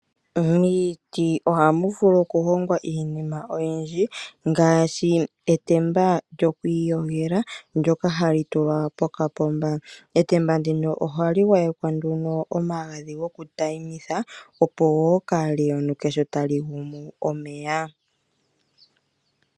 Miiti oha mu vulu okuhongwa iinima oyindji ngaashi etemba lyokwiiyogela, ndyoka ha li tulwa pokapomba. Etemba ndino oha li gwayekwa nduno gokutayimitha opo ka li yonuke sho ta li gumu omeya.